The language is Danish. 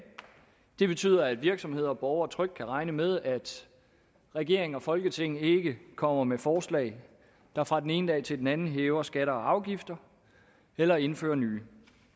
det betyder at virksomheder og borgere trygt kan regne med at regeringen og folketinget ikke kommer med forslag der fra den ene dag til den anden hæver skatter og afgifter eller indfører nye